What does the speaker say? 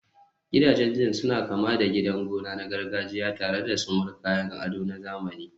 Gidajen zinc suna kama da gidan gona na gargajiya tare da sumul, kayan ado na zamani.